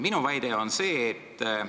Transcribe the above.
Minu väide on selline.